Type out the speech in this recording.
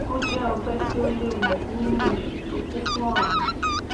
ó jẹ ọgbẹ tí ò léwu nínú ìṣù tó kún fún ọrá